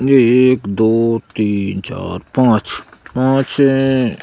ये एक दो तीन चार पांच पांच अ--